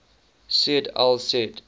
said al said